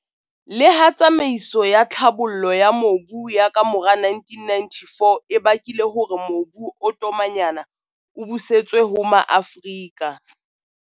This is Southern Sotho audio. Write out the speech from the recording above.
Le ha tsamaiso ya tlhabollo ya mobu ya kamora 1994 e bakile hore mobu o tomanyana o busetswe ho Maafrika.